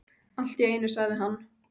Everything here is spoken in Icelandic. Allt í einu sagði hann